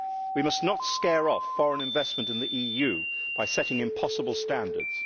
We must not scare off foreign investment in the EU by setting impossible standards.